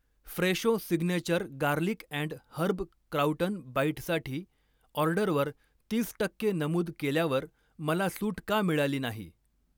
Fresho signature garlic and herb crouton बाईटसाठी ऑर्डरवर तीस टक्के नमूद केल्यावर मला सूट का मिळाली नाही.